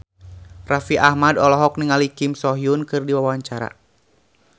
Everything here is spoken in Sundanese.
Raffi Ahmad olohok ningali Kim So Hyun keur diwawancara